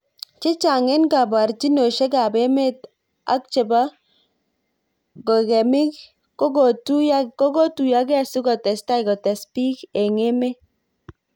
chechang eng kaborjinoshek ab emet ak chebo ngokemik kokotuyokei sikotestai kotes bik eng emet.